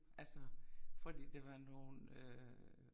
Altså fordi det var nogen øh